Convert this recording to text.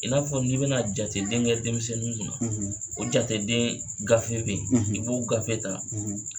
I n'a fɔ n'i bɛna jateden kɛ denmisɛnninw kunna jateden gafe bɛ yen i b'o gafe ta